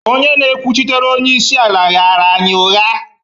onye na-ekwuchitere onye isi ala ghaara anyị ụgha